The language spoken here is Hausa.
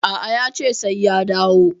A'a, yace sai ya dawo.